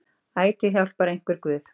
Altíð hjálpar einhver guð.